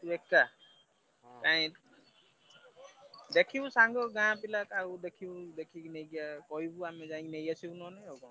ତୁ ଏକା? କାଇଁ ଦେଖିବୁ ସାଙ୍ଗ ଗାଁ ପିଲା କାହାକୁ ଦେଖିବୁ ଦେଖିବୁ କହିବୁ ଆମେ ଯାଇ ନେଇଆସିବୁ ନହଲେ ଆଉ।